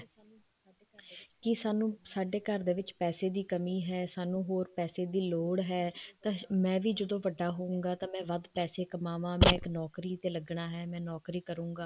ਜੇ ਸਾਨੂੰ ਸਾਡੇ ਘਰ ਦੇ ਵਿੱਚ ਪੈਸੇ ਦੀ ਕਮੀ ਹੈ ਸਾਨੂੰ ਹੋਰ ਪੈਸੇ ਦੀ ਲੋੜ ਹੈ ਤਾਂ ਮੈਂ ਵੀ ਜਦੋਂ ਵੱਡਾ ਹੋਊਂਗਾ ਤਾਂ ਮੈਂ ਵੱਧ ਪੈਸੇ ਕਮਾਵਾਂ ਮੈਂ ਇੱਕ ਨੋਕਰੀ ਏ ਲੱਗਣਾ ਹੈ ਮੈਂ ਇੱਕ ਨੋਕਰੀ ਕਰੁਂਗਾ